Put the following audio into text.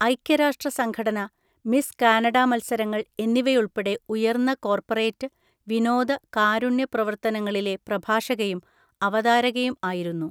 ഐക്യ രാഷ്ട്ര സംഘടന, മിസ് കാനഡ മത്സരങ്ങൾ എന്നിവയുൾപ്പെടെ ഉയർന്ന കോർപ്പറേറ്റ്, വിനോദ, കാരുണ്യ, പ്രവര്‍ത്തനങ്ങളിലെ പ്രഭാഷകയും അവതാരകയും ആയിരുന്നു.